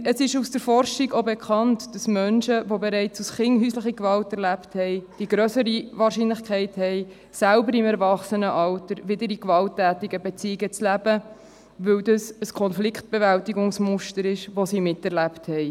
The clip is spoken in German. Zudem ist aus der Forschung bekannt, dass Menschen, die bereits als Kinder häusliche Gewalt erlebt haben, mit grösserer Wahrscheinlichkeit im Erwachsenenalter selbst wieder in gewalttätigen Beziehungen leben, weil dies ein Konfliktbewältigungsmuster ist, das sie miterlebt haben.